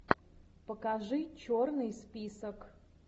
покажи черный список